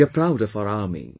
We are proud of our army